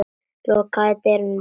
Lokaðu dyrunum á eftir þér.